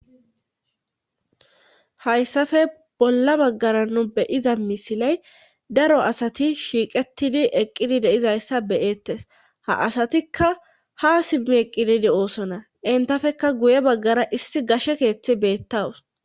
Hayssafe bolla baggara nu beyiza misiley daro asati shiiqettidi eqqidi deizayssa beyettes ha asatikka ha simmi eqqididi oosona entafekka guye baggara issi gashe keeththi beettawus.